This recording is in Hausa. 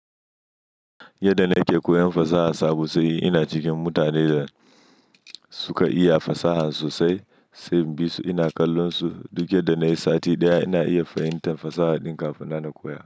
Yadda na ke koyan fasaha sabo sai ina cikin mutanen da suka iya fasaha sosai, sai bisu ina kallon su. Duk da nayi sati ɗaya ina iya fahimtar fasaha ɗin kafin na na koya.